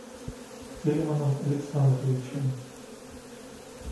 тельманом александровичем